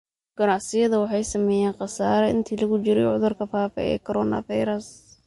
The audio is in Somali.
Ganacsiyada waxay sameeyeen khasaare intii lagu jiray cudurka faafa ee coronavirus.